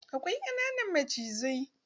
Akwai ƙananan macizai.